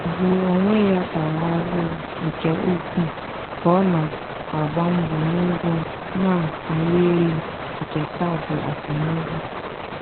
ugwu onwe ya tara ahụhụ nke ukwuu ka ọ na-agba mbọ n´ụgwọ na-arị elu nke kaadị akwụmụgwọ.